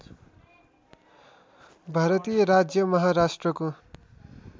भारतीय राज्य महाराष्ट्रको